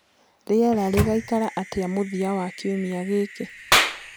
rĩera rĩgaĩkara atĩa mũthia wa kĩumĩa giki